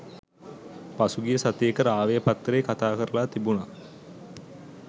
පසුගිය සතියක රාවය පත්තරේ කතා කරලා තිබුනා